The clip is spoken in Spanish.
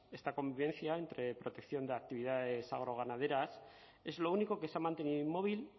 esta convivencia entre protección de actividades agroganaderas es lo único que se ha mantenido inmóvil